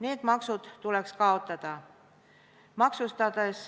Need maksud tuleks kaotada.